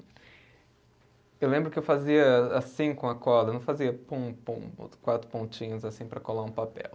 Eu lembro que eu fazia assim com a cola, não fazia pum, pum, quatro pontinhos assim para colar um papel.